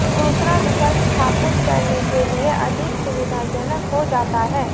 दूसरा विकल्प स्थापित करने के लिए अधिक सुविधाजनक हो जाता है